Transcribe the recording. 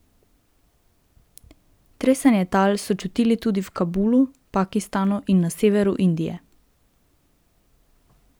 Tresenje tal so čutili tudi v Kabulu, Pakistanu in na severu Indije.